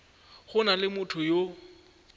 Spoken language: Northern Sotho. go na le motho yo